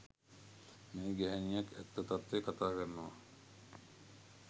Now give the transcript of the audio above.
මේ ගැහැනියක් ඇත්ත තත්වය කතාකරනවා